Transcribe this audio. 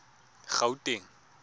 gauteng